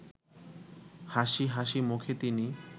হাসি হাসি মুখে তিনি